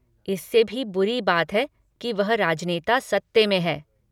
इससे भी बुरी बात है कि वह राजनेता सत्ते में हैं।